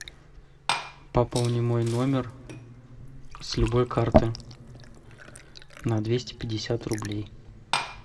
пополни мой номер с любой карты на двести пятьдесят рублей